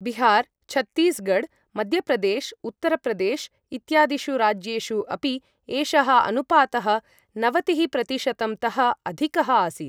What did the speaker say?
बिहार, छत्तीसगढ़, मध्यप्रदेश, उत्तरप्रदेश इत्यादिषु राज्येषु अपि एषः अनुपातः नवतिःप्रतिशतम् तः अधिकः आसीत्।